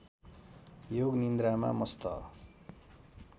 योग निन्द्रामा मस्त